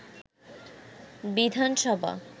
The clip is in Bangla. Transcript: বিধানসভা